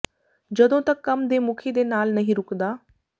ਜਦੋਂ ਤੱਕ ਕੰਮ ਦੇ ਮੁਖੀ ਦੇ ਨਾਲ ਨਹੀਂ ਰੁਕਦਾ